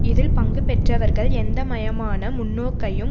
இதில் பங்கு பெற்றவர்கள் எந்த மையமான முன்னோக்கையும்